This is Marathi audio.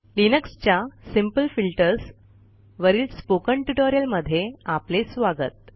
लिनक्सच्या सिंपल फिल्टर्स वरील स्पोकन ट्युटोरियलमध्ये आपले स्वागत